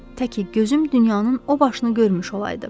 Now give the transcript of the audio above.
Tək ki gözüm dünyanın o başını görmüş olaydı."